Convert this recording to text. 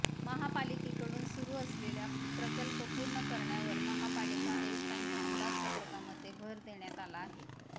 महापालिकेकडून सुरू असलेले प्रकल्प पूर्ण करण्यावर महापालिका आयुक्तांच्या अंदाजपत्रकामध्ये भर देण्यात आला आहे